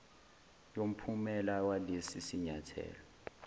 yomphumela walesi sinyathelo